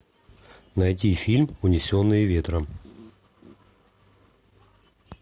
найти фильм унесенные ветром